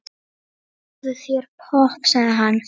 Fáðu þér popp, sagði hann.